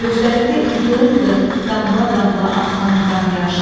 gözlərimdə ildırımdır, damla-damla axan qan-yaş.